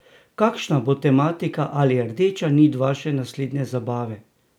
Kakšna bo tematika ali rdeča nit vaše naslednje zabave?